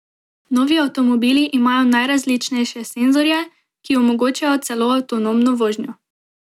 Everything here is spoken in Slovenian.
Novi avtomobili imajo najrazličnejše senzorje, ki omogočajo celo avtonomno vožnjo.